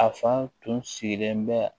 A fan tun sigilen bɛ